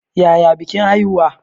Yaya bikin haihuwa?